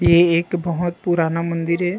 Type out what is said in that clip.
ये एक बहोत पुराना मंदिर है।